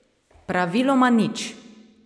Praviloma nič.